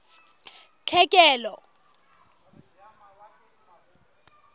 tlhekelo